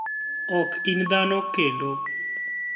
"Ok ini dhano kenido.